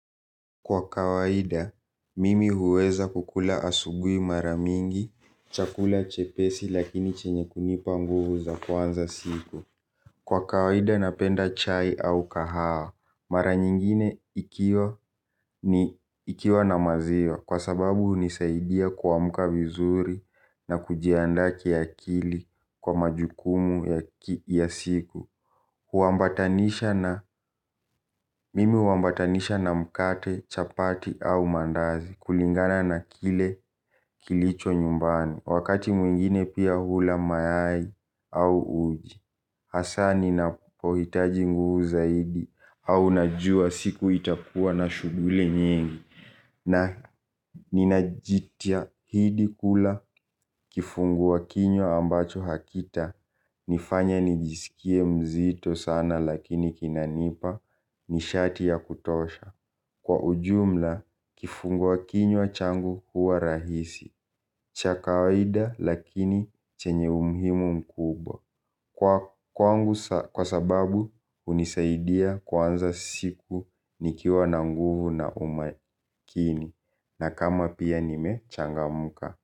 Kwa kawaida, mimi huweza kukula asubui maramingi, chakula chepesi lakini chenye kunipa nguvu za kuanza siku. Kwa kawaida napenda chai au kahawa, mara nyingine ikiwa na maziwa kwa sababu unisaidia kuamka vizuri na kujianda kia kili kwa majukumu ya siku. Huambatanisha na mkate, chapati au mandazi kulingana na kile kilicho nyumbani. Wakati mwingine pia hula mayai au uji Hasani na pohitaji nguvu zaidi au najua siku itakua na shuguli nyingi. Na ninajitia hidi kula kifungua kinywa ambacho hakita nifanya nijiskie mzito sana lakini kinanipa ni shati ya kutosha. Kwa ujumla kifungua kinywa changu huwa rahisi. Chaka waida lakini chenye umuhimu mkubwa. Kwa kwangu kwa sababu unisaidia kuanza siku nikiwa na nguvu na umakini. Na kama pia nime changamka.